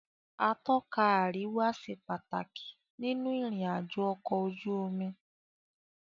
Atọ́ka àríwá ṣe pàtàkì nínú ìrìn àjò ọ̀kọ̀ ojú omi.